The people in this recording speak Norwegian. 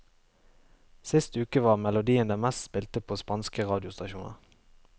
Sist uke var melodien den mest spilte på spanske radiostasjoner.